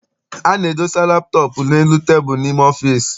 A na-edosa laptọọp n'elu tebulu n'ime ọfịịsi.